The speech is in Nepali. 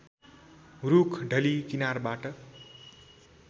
रूख ढली किनारबाट